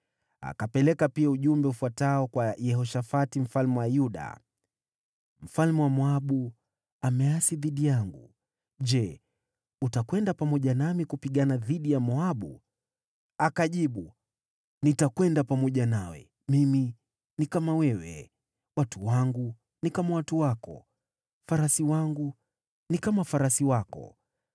Akapeleka pia ujumbe ufuatao kwa Yehoshafati mfalme wa Yuda: “Mfalme wa Moabu ameasi dhidi yangu. Je, utakwenda pamoja nami kupigana dhidi ya Moabu?” Akajibu, “Nitakwenda pamoja nawe. Mimi ni kama wewe, watu wangu ni kama watu wako, farasi wangu ni kama farasi wako.”